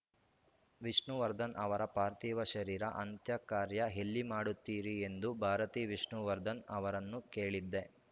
ವಿಷ್ಣುವರ್ಧನ್‌ ಅವರ ಪಾರ್ಥಿವ ಶರೀರ ಅಂತ್ಯಕಾರ್ಯ ಎಲ್ಲಿ ಮಾಡುತ್ತೀರಿ ಎಂದು ಭಾರತಿ ವಿಷ್ಣುವರ್ಧನ್‌ ಅವರನ್ನು ಕೇಳಿದ್ದೆ